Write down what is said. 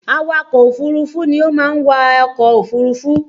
Awakọ̀ òfúrufú ni ó máa ń wa ọkọ̀ òfurufú